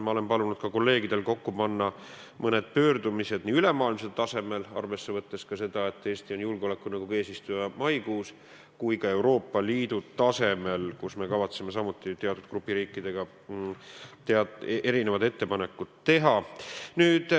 Ma olen palunud oma kolleegidel panna kokku ka mõned pöördumised ülemaailmsel tasemel, võttes arvesse seda, et Eesti on maikuus julgeolekunõukogu eesistuja, samuti Euroopa Liidu tasemel, kus me kavatseme samuti teatud grupi riikidega ettepanekuid teha.